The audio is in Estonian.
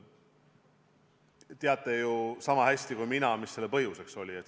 Te teate ju sama hästi kui mina, mis oli selle põhjuseks.